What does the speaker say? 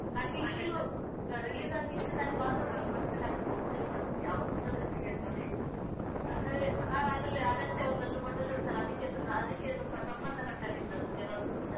ನಂಗೆ ಈಗಲೂ release ಇಷ್ಟು time ಆದ್ರೂ ನನ್ನ ಮನಸಿಂದ ಆಚೆ ಹೋಗುವುದೇ ಇಲ್ಲ ಅದು ಯಾವತ್ತು ಜೊತೆಗಿರ್ತದೆ, ಅಂದ್ರೆ ನಾನು ಆಗ್ಲೇ ಆಗ ಅಷ್ಟೇ ಒಂದಷ್ಟು photoshoots ಎಲ್ಲ ಅದಕ್ಕೆ ತುಂಬಾ ಅದಕ್ಕೆ ತುಂಬಾ ಸಂಬಂಧ ಪಟ್ಟ ಹಾಗೆ ಇತ್ತದು, ಕೆಲವು shoots ಎಲ್ಲ.